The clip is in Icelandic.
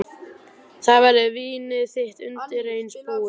Þá verður vínið þitt undireins búið.